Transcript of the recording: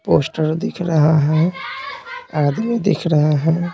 Poster दिख रहा है आदमी दिख रहा है ।